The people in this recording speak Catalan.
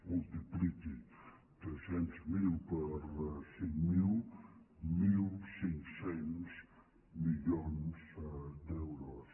multipliqui tres cents miler per cinc mil mil cinc cents milions d’euros